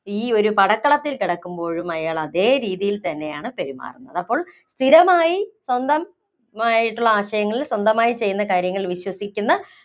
ഈ ഒരു പടക്കളത്തില്‍ കിടക്കുമ്പോഴും അയാള്‍ അതേ രീതിയില്‍ തന്നെയാണ് പെരുമാറുന്നത്. അപ്പോള്‍ സ്ഥിരമായി സ്വന്തമായിട്ടുള്ള ആശയങ്ങള്‍ സ്വന്തമായി ചെയ്യുന്ന വിശ്വസിക്കുന്ന